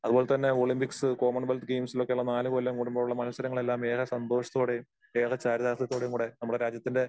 അതുപോലെതന്നെ Olympics Commonwealth ഗെയിംസിലൊക്കെ ഉള്ള നാല് കൊല്ലം കൂടുമ്പോഴുള്ള മത്സരങ്ങളെല്ലാം ഏറെ സന്തോഷത്തോടെയും ഏറെ ചാരിതാർഥ്യത്തോടെയുംകൂടെ നമ്മടെ രാജ്യത്തിന്റെ